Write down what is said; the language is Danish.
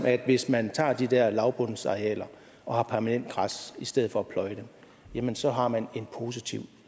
at hvis man tager de der lavbundsarealer og har permanent græs i stedet for at pløje dem jamen så har man en positiv